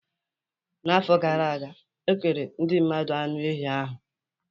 N'afọ gara aga, okere ndị mmadụ anụ ehi ahụ.